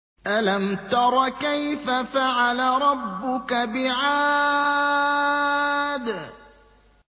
أَلَمْ تَرَ كَيْفَ فَعَلَ رَبُّكَ بِعَادٍ